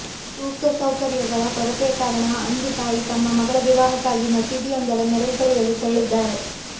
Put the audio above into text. ಸೂಕ್ತ ಸೌಕರ್ಯಗಳ ಕೊರತೆಯ ಕಾರಣ ಅಂಜು ತಾಯಿ ತಮ್ಮ ಮಗಳ ವಿವಾಹಕ್ಕಾಗಿ ಮಸೀದಿಯೊಂದರ ನೆರವು ಪಡೆಯಲು ತೆರಳಿದ್ದಾರೆ